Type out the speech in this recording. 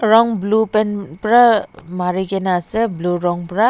Rong blue paint pra marikena ase blue rong pra.